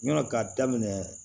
Ɲɔn ka daminɛ